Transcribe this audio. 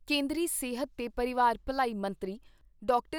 ਕੇਂਦਰੀ ਸਿਹਤ ਤੇ ਪਰਿਵਾਰ ਭਲਾਈ ਮੰਤਰੀ ਡਾਕਟਰ